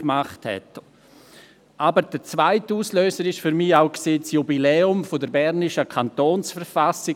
Der zweite Auslöser war für mich das Jubiläum der bernischen Kantonsverfassung.